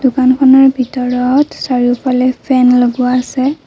দোকানখনৰ ভিতৰত চাৰিওফালে ফেন লগোৱা আছে।